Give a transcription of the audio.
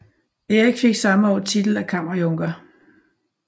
Erik fik samme år titel af kammerjunker